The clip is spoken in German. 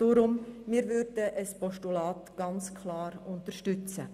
Darum wir würden ein Postulat ganz klar unterstützen.